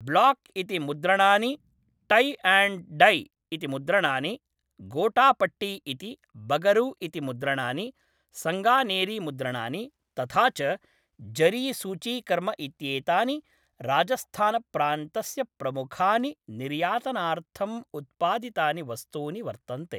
Block इति मुद्रणानि, tie and dye इति मुद्रणानि, गोटापट्टी इति, बगरू इति मुद्रणानि, सङ्गानेरी मुद्रणानि, तथा च जरी सूचीकर्म इत्येतानि राजस्थानप्रान्तस्य प्रमुखानि निर्यातनार्थम् उत्पादितानि वस्तूनि वर्तन्ते।